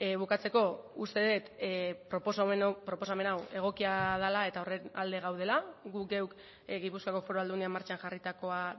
bukatzeko uste dut proposamen hau egokia dela eta horren alde gaudela gu geuk gipuzkoako foru aldundian martxan jarritakoa